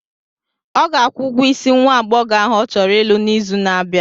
Ọ ga-akwụ ụgwọ isi nwa aghọghọ ahụ ọ chọrọ ịlụ n'izu na-abịa.